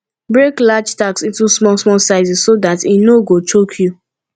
break large task into small small sizes so dat e no go choke you